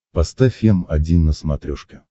поставь м один на смотрешке